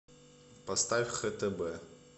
поставь хтб